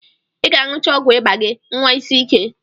Ị ga-aṅụcha ọgwụ ịba gị, nwa isi ike.